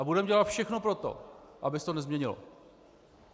A budeme dělat všechno pro to, aby se to nezměnilo.